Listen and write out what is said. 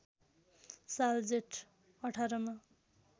साल जेठ १८ मा